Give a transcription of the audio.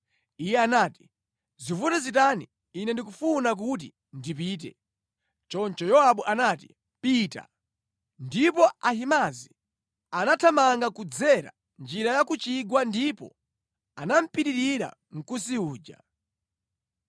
Iye anati, “Zivute zitani ine ndikufuna kuti ndipite.” Choncho Yowabu anati “Pita!” Ndipo Ahimaazi anathamanga kudzera njira ya ku chigwa ndipo anamupitirira Mkusi uja.